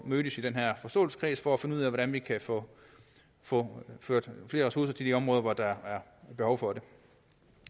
mødes i den her forståelseskreds for at finde ud af hvordan vi kan få få ført flere ressourcer til de områder hvor der er behov for det